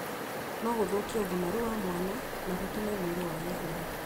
no gũthũkie ũgimaru wa mwana na gũtũme mwĩrĩ wage hinya.